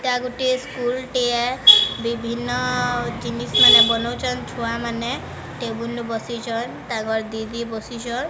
ଏଟା ଗୋଟିଏ ସ୍କୁଲ ଟିଏ ବିଭିନ୍ନ ।